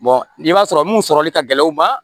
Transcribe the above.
n'i b'a sɔrɔ mun sɔrɔli ka gɛlɛn u ma